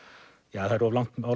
er of langt